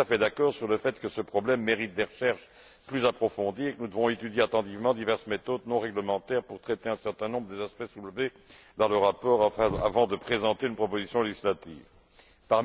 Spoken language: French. Je suis entièrement d'accord sur le fait que ce problème mérite des recherches plus approfondies et que nous devons étudier avec attention diverses méthodes non réglementaires pour traiter un certain nombre des aspects soulevés dans le rapport avant de présenter une proposition législative, à savoir